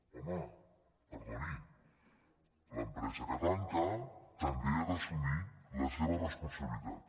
home perdoni l’empresa que tanca també ha d’assumir la seva responsabilitat